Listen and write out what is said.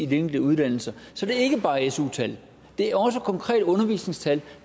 de enkelte uddannelser så det er ikke bare su tal det er også konkrete undervisningstal